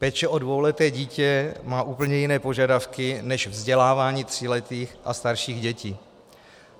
Péče o dvouleté dítě má úplně jiné požadavky než vzdělávání tříletých a starších dětí.